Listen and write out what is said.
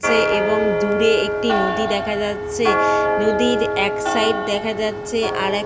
সে এবং দূরে একটি নদী দেখা যাচ্ছে। নদীর এক সাইড দেখা যাচ্ছে আরেক --